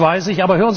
Das weiß ich.